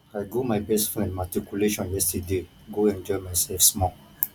i go my best friend matriculation yesterday go enjoy myself small